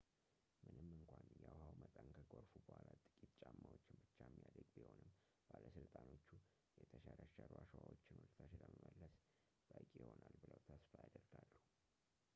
ምንም እንኳን የውሃው መጠን ከጎርፉ በኋላ ጥቂት ጫማዎችን ብቻ የሚያድግ ቢሆንም ባለሥልጣኖቹ የተሸረሸሩ አሸዋዎችን ወደታች ለመመለስ በቂ ይሆናል ብለው ተስፋ ያደርጋሉ